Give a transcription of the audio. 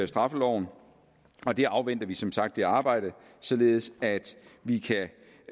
straffeloven vi afventer som sagt det arbejde således at vi